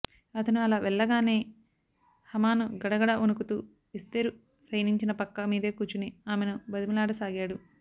అతను అలా వెళ్లగానే హామాను గడగడ వణుకుతూ ఎస్తేరు శయనించిన పక్క మీదే కూర్చుని ఆమెను బతిమాలాడసాగాడు